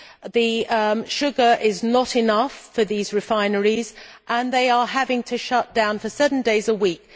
The sugar is not enough for these refineries and they are having to shut down for certain days a week.